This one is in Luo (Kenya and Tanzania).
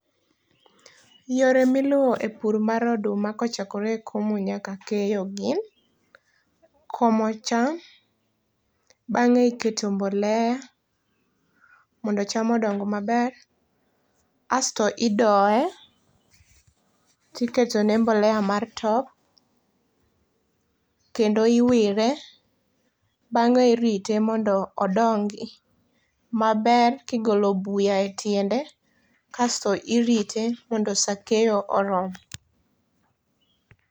Yore miluwo e pur mar oduma kochakore e komo nyaka keyo gin: komo cham, bang'e iketo mbolea, mondo cham odong maber. Asto idoye, tiketone mbolea mar top. Kendo iwire, bang'e irite mondo odongi maber kigolo buya e tiende, kasto irite mondo sa keyo orom.